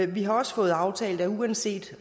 vi har også fået aftalt at uanset